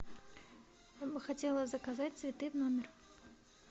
я бы хотела заказать цветы в номер